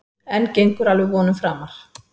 En gengur alveg vonum framar.